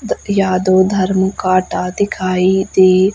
the Yadav Dharam Kanta दिखाई दे--